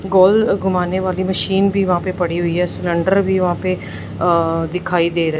गोल घूमाने वाली मशीन भी वहां पे पड़ी हुई है सिलेंडर भी वहां पे दिखाई दे र--